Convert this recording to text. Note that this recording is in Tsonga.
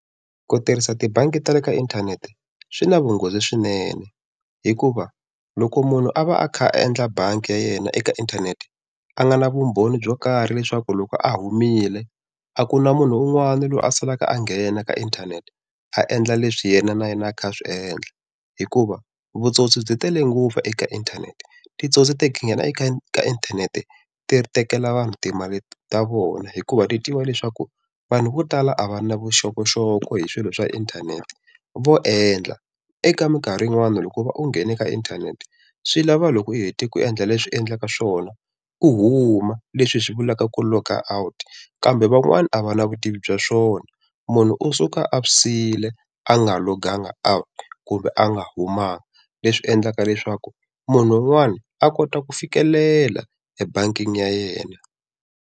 Ku tirhisa tibangi ta le ka inthanete swi na vunghozi swinene hikuva loko munhu a va a kha a endla bangi ya yena eka inthanete a nga na vumbhoni byo karhi leswaku loko a humile a ku na munhu un'wana loyi a salaka a nghena ka inthanete a endla leswi yena na yena a kha a swiendla hikuva vutsotsi byi tele ngopfu eka inthanete titsotsi ti nghena eka inthanete ti tekela vanhu timali ta vona hikuva ti tiva leswaku vanhu vo tala a va na vuxokoxoko hi swilo swa inthanete vo endla eka mikarhi yin'wana loko u va u nghene ka inthanete swi lava loko u hete ku endla leswi endlaka swona huma leswi hi swi vulaka ku logout kambe van'wani a va na vutivi bya swona munhu u suka a swi siyile a nga loganga out kumbe a nga humanga leswi endlaka leswaku munhu un'wana a kota ku fikelela e bangini ya yena.